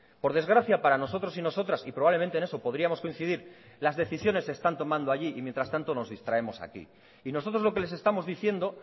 por desgracia para nosotros y nosotras y probablemente en eso podríamos coincidir las decisiones se están tomando allí y mientras tanto nos distraemos aquí y nosotros lo que les estamos diciendo